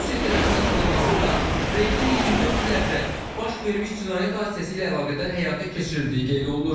Rusiya tərəfin açıqlamasında reydin 24 il əvvəl baş vermiş cinayət hadisəsi ilə əlaqədar həyata keçirildiyi qeyd olunur.